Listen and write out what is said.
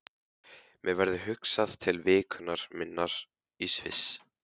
Mér verður hugsað til vikunnar minnar í Sviss.